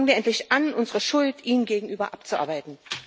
Fangen wir endlich an, unsere Schuld ihnen gegenüber abzuarbeiten.